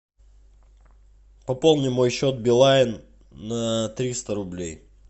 пополни мой счет билайн на триста рублей